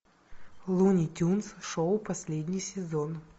луни тюнс шоу последний сезон